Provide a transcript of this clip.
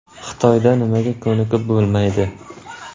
Xitoyda nimaga ko‘nikib bo‘lmaydi?